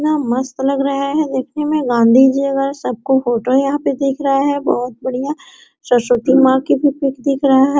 इतना मस्त लग रहा है देखने में गांधी जी वगैरा सब का फोटो यहाँ पे दिख रहा है बहुत बढ़िया सरस्वती माँ की भी पिक दिख रहा है।